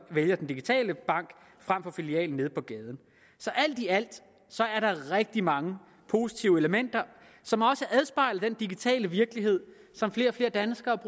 vælger den digitale bank frem for filialen nede på gaden så alt i alt er der rigtig mange positive elementer som også afspejler den digitale virkelighed som flere og flere danskere